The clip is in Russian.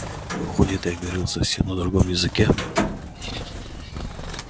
выходит я говорил совсем на другом языке